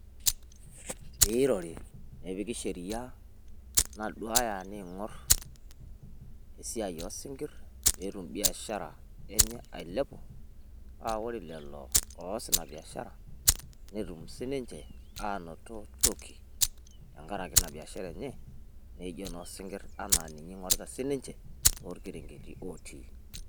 pee irori nepiki sheria naaduya ning'or esiai oo ising'ir pee etum biashara enye alepu paa ore lelo oos ina biashara , netum sii ninche anoto toki tengaraki ina biashara enye pee etumoki si niche aanoto toki amu ninye ing'orita tookerengeti otii.